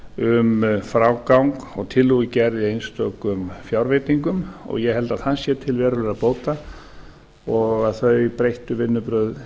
um frágang og tillögugerð í einstökum fjárveitingum ég held að það sé til verulegra bóta og þau breyttu vinnubrögð